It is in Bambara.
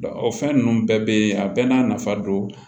o fɛn ninnu bɛɛ bɛ yen a bɛɛ n'a nafa don